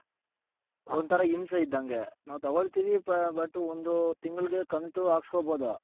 ಒಂದ್ ತರ ಹಿಂಸೆ ಇದ್ದಂಗೆ ನಾವು ತಗೊಳ್ತಿವಿ but ಒಂದು ತಿಂಗಲ್ಗೆ ಕಂತು ಹಾಕಸ್ಕೊಬೋದು .